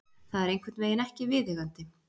Það er einhvernveginn ekki viðeigandi.